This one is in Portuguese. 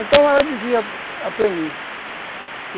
Então ela dizia para mim.